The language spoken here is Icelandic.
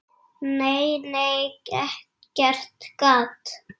Nei, nei, ekkert gat!